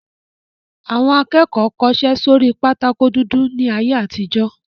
Àwọn akẹ́kọ̀ọ́ kọṣẹ́ sórí pátákó dúdú ní ayé àtijó